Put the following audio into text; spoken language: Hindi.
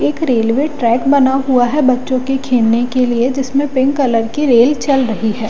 एक रेलवे ट्रैक बना हुआ है बच्चों के खेलने के लिए जिसमें पिंक कलर की रेल चल रही है।